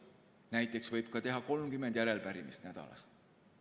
Näiteks võib teha 30 arupärimist nädalas.